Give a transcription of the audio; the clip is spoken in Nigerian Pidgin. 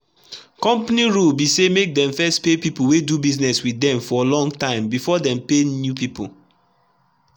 company rule be say make them first pay people wey dey do business with them for long timebefore they pay new people.